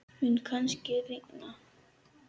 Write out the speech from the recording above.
Mun kannski rigna?